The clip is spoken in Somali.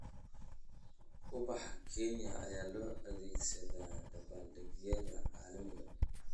Ubax Kenya ayaa loo adeegsadaa dabaaldegyada caalamiga ah.